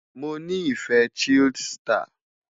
Mo ni ife chilled star